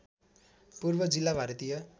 पूर्व जिल्ला भारतीय